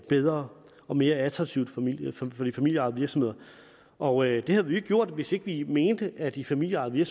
bedre og mere attraktivt for de familieejede virksomheder og det havde vi jo ikke gjort hvis ikke vi mente at de familieejede